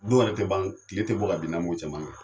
Don wɛrɛ tɛ ban tile tɛ bɔ ka bin n'an m'o caman kɛ